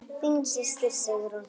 Þín systir, Sigrún.